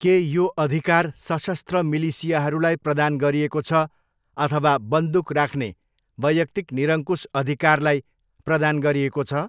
के यो अधिकार सशस्त्र मिलिसियाहरूलाई प्रदान गरिएको छ अथवा बन्दुक राख्ने वैयक्तिक निरङ्कुश अधिकारलाई प्रदान गरिएको छ?